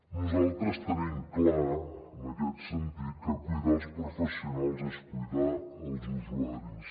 nosaltres tenim clar en aquest sentit que cuidar els professionals és cuidar els usuaris